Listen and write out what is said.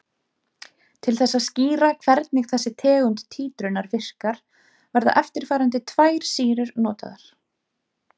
Til þess að skýra hvernig þessi tegund títrunar virkar verða eftirfarandi tvær sýrur notaðar.